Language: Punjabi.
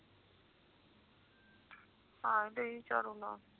ਹਾਂ ਤੁਹੀ ਝੱਲ ਲੋ